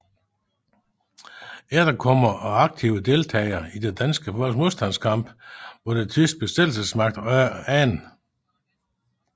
Efterkommere af aktive deltagere i det danske folks modstandskamp mod den tyske besættelsesmagt under 2